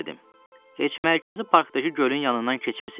Heç mərkəzi parkdakı gölün yanından keçmisiz?